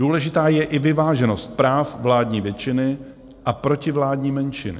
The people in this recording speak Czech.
Důležitá je i vyváženost práv vládní většiny a protivládní menšiny.